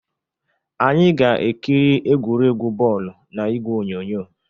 Anyị ga-ekiri egwuregwu bọọlụ na igwe onyonyo